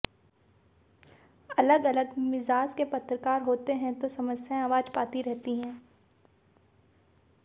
अलग अलग मिज़ाज के पत्रकार होते हैं तो समस्याएं आवाज़ पाती रहती हैं